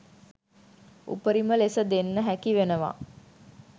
උපරිම ලෙස දෙන්න හැකි වෙනවා